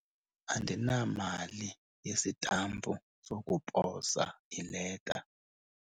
Mama, andinamali yesitampu sokuposa ileta.